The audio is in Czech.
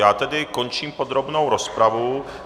Já tedy končím podrobnou rozpravu.